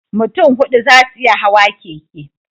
Mutun hudu zasu iya Hawa keke